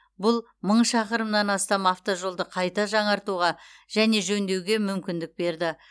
бұл мың шақырымнан астам автожолды қайта жаңартуға және жөндеуге мүмкіндік берді